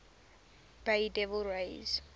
bay devil rays